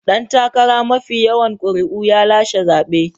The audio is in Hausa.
Dan takara mafi yawan ƙuri'u ya lashe zabe.